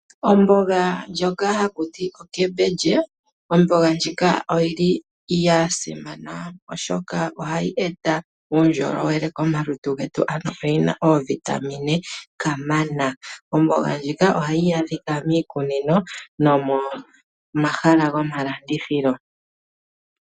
Ombonga ndjoka ha kuti okembindje, ombonga ndjika oyili yasimana oshoka ohayi eta uundjolowele komalutu ngetu ano oyina oovitamine kamana, ombonga ndjika ohayi adhika miikunino nomomahala gomalandithilo.